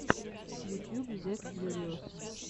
ютьюб зе кьюриос